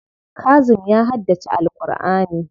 Kazim ya haddace Al'kur'ani.